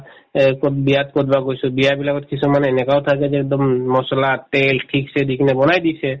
এই কত বিয়াত কৰবাত গৈছো বিয়াবিলাকত কিছুমান এনেকুৱাও থাকে যে একদম উম মছলাত তেল থিকছে দি কিনে বনাই দিছে